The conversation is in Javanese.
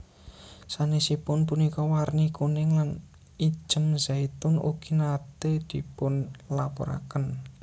Sanesipun punika warni kuning lan ijem zaitun ugi nate dipunlaporaken